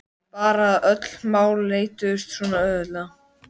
Bara að öll mál leystust svona auðveldlega.